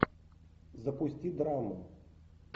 запусти драму